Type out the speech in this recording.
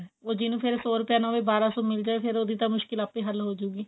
ਉਹ ਜਿਹਨੂੰ ਫੇਰ ਸੋ ਰੁਪਿਆ ਨਾ ਹੋਵੇ ਬਾਰਾਂ ਸੋ ਮਿਲਜੇ ਫੇਰ ਉਹਦੀ ਤਾਂ ਮੁਸ਼ਕਿਲ ਆਪੇ ਹੱਲ ਹੋਜੂਗੀ